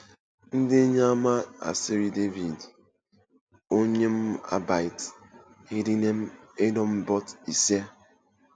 Ndi enye ama asari David onyụn̄ abiat ndinen edumbet Esie?